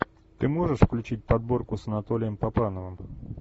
ты можешь включить подборку с анатолием папановым